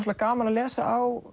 gaman að lesa á